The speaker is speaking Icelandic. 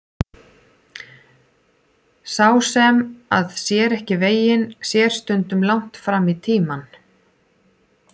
Sá sem að sér ekki veginn sér stundum langt fram í tímann.